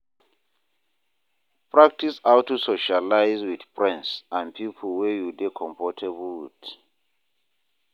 Practice how to socialize with friends and pipo wey you dey comfortable with